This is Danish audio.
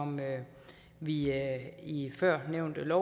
vi i førnævnte